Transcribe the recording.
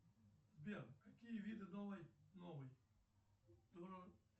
сбер какие виды новой новой